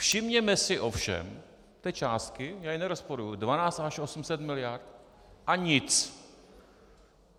Všimněme si ovšem té částky, já ji nerozporuji, 12 až 18 miliard a nic.